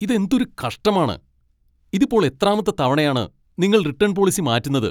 ഇതെന്തൊരു കഷ്ടമാണ്! ഇതിപ്പോൾ എത്രാമത്തെ തവണയാണ് നിങ്ങൾ റിട്ടേൺ പോളിസി മാറ്റുന്നത്.